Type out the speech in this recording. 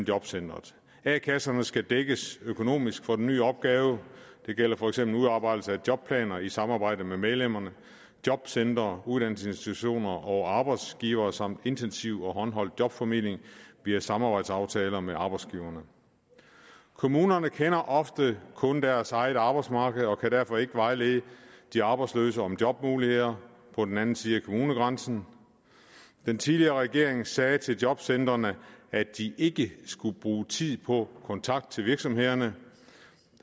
jobcenteret a kasserne skal dækkes økonomisk for den nye opgave det gælder for eksempel udarbejdelse af jobplaner i samarbejde med medlemmerne jobcentre uddannelsesinstitutioner og arbejdsgivere samt intensiv og håndholdt jobformidling via samarbejdsaftaler med arbejdsgiverne kommunerne kender ofte kun deres eget arbejdsmarked og kan derfor ikke vejlede de arbejdsløse om jobmuligheder på den anden side af kommunegrænsen den tidligere regering sagde til jobcentrene at de ikke skulle bruge tid på kontakt til virksomhederne